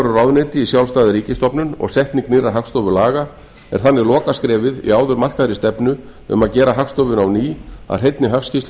ráðuneyti í sjálfstæða ríkisstofnun og setning nýrra hagstofulaga er þannig lokaskrefið í áður markaðri stefnu um að gera hagstofuna á ný að hreinni hagskýrslustofnun